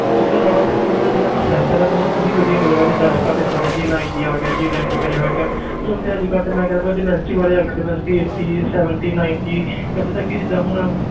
ਉਸ ਤੋਂ ਇਲਾਵਾ ਤੈਨੂੰ ਇਹਦਾ ਜਿਹੜਾ processor ਆ ਤੈਨੂੰ ਉਹ ਵੀ ਵਧੀਆ ਮਿਲੇਗਾ ਜਿੱਦਾਂ ਅੱਜ ਕੱਲ੍ਹ ਤੈਨੂੰ ਪਤਾ j ninety ਆ ਗਿਆ j ninety five ਆ ਗਿਆ ਹੁਣ ਤੇ ਅੱਜ ਕੱਲ੍ਹ ਮੈਂ ਕਹਿਨਾ ਵਾਲੇ ਆ ਗਏ eighteen seventy ninety ਇੱਥੇ ਤੱਕ ਕਿ ਜਿੱਦਾਂ ਹੁਣ